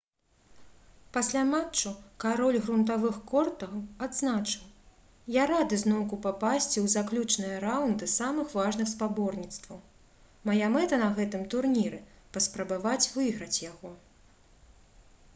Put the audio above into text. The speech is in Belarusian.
пасля матчу кароль грунтавых кортаў адзначыў: «я рады зноўку папасці ў заключныя раўнды самых важных спаборніцтваў. мая мэта на гэтым турніры — паспрабаваць выйграць яго»